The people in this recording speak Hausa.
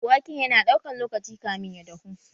Waken yana ɗaukan lokaci kamın ya dahu?